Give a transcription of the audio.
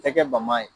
Tɛ kɛ bama ye